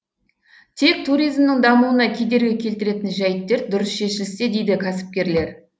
тек туримзнің дамуына кедергі келтіретін жайттер дұрыс шешілсе дейді кәсіпкерлер